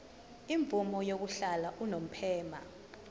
imvume yokuhlala unomphema